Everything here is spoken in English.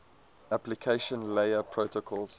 application layer protocols